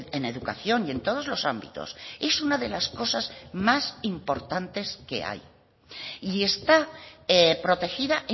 en educación y en todos los ámbitos es una de las cosas más importantes que hay y está protegida